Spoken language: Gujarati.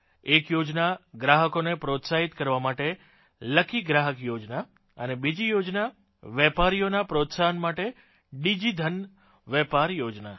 એક યોજના ગ્રાહકોને પ્રોત્સાહિત કરવા માટે લકી ગ્રાહક યોજના અને બીજી યોજના વેપારીઓના પ્રોત્સાહન માટેDigiધન વેપાર યોજના